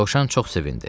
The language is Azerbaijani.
Dovşan çox sevindi.